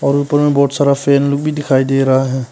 और ऊपर में बहुत सारा फैन लोग भी दिखाई दे रहा है।